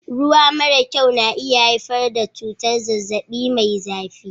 Ruwa mara kyau na iya haifar da cutar zazzabi Mai zafi